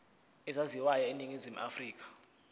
ezaziwayo eningizimu afrika